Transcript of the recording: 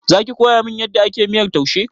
Zaki koyamin yadda ake miyar taushe?